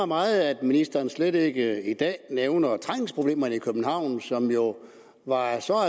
meget at ministeren slet ikke i dag nævner trængselsproblemerne i københavn som jo var af en så